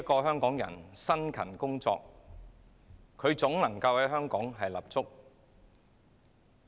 香港人只要辛勤工作，總能夠在香港立足。